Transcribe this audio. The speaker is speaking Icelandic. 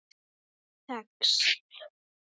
Það tekst.